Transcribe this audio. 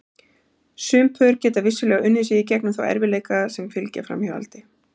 Sum pör geta vissulega unnið sig í gegnum þá erfiðleika sem fylgja framhjáhaldi.